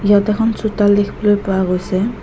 ইয়াত এখন চোতাল দেখিবলৈ পোৱা গৈছে।